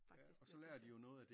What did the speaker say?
Faktisk bliver sorteret